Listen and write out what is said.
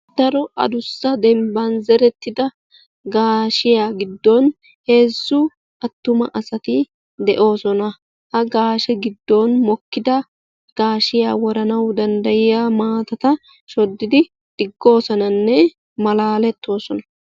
daro addussa dembba zeretida gaashiyaa giddon heezzu attuma asati de'oosona. ha gaashshe giddon gaashshiya woranaw danddayiyaa maatata shodidi digoosonanne keehi malaletoosona.